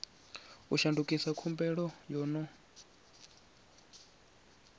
u shandukisa khumbelo yo no